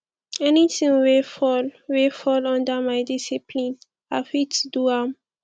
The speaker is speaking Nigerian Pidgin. anything wey fall wey fall under my discipline i fit do am